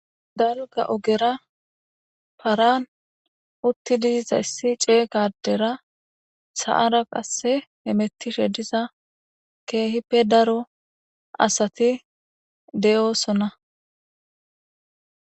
Dalga ogera paran utti diiza issi ceeqadera sa'ara qasse hemettishe diza keehippe daro asati de'oosona.